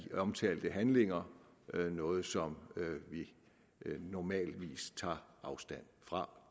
omtalte handlinger noget som vi normalt tager afstand fra